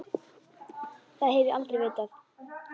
Það hef ég aldrei vitað.